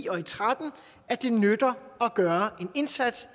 og tretten at det nytter at gøre en indsats